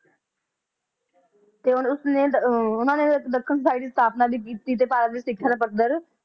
ਤੇ ਉਸ ਨੇ ਓਹਨਾ ਨੇ society ਦੀ ਸਥਾਪਨਾ ਵੀ ਕੀਤੀ ਤਹਿ ਭਾਰਤ ਦੀ ਸ਼ਿਕ੍ਸ਼ਾ ਦਾ ਪੱਧਰ